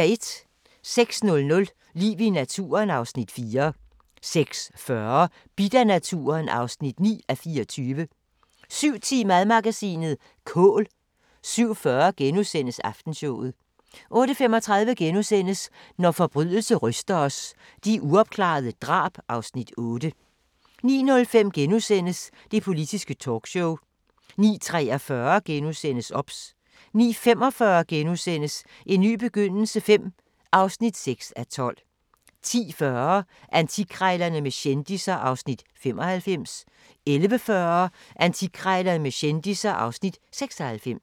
06:00: Liv i naturen (Afs. 4) 06:40: Bidt af naturen (9:24) 07:10: Madmagasinet: Kål 07:40: Aftenshowet * 08:35: Når forbrydelse ryster os – De uopklarede drab (Afs. 8)* 09:05: Det Politiske Talkshow * 09:43: OBS * 09:45: En ny begyndelse V (6:12)* 10:40: Antikkrejlerne med kendisser (Afs. 95) 11:40: Antikkrejlerne med kendisser (Afs. 96)